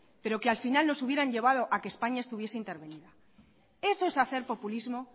pero que al final los hubieran llevado a que españa estuviese intervenida eso es hacer populismo